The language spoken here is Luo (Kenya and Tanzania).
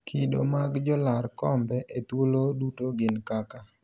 kido mag jolar kombe e thuolo duto gin kaka